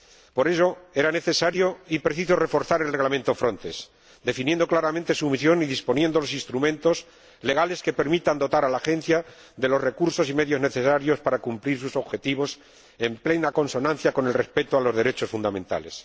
Por ello, era necesario y preciso reforzar el Reglamento Frontex, definiendo claramente la misión de la Agencia y disponiendo los instrumentos legales que permitan dotarla de los recursos y medios necesarios para cumplir sus objetivos en plena consonancia con el respeto a los derechos fundamentales.